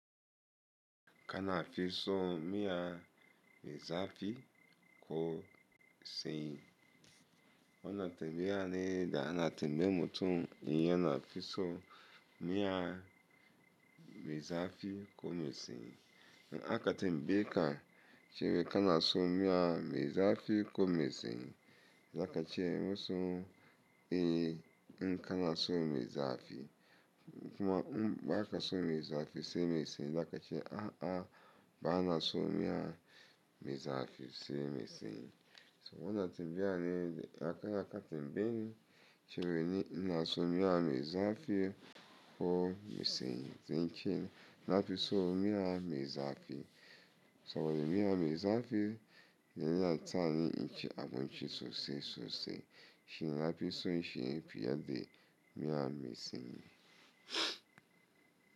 Ka na fi so miya mezafi ko me san yi na tambaya ne da a na tambayan mutum yana fi so miya me zafi ko mesin. Aka tambaye ka ce wai kana son miya me zafi ko me sanyi zaka ce masu "eh" in kana son me zafi ko kuma in baka son me zafi sai me sanyi zakace a'a bana son miya me zafi sai me sanyi a na tambaya ne da akatimbin ci wai ni na so miya me zafi ko me sani sai nace nafi son miya me zafi. To miya mezafi ya na taya ni in ci abun ci sosai sosai shi na fi so shi fi yadda miya me sanyi.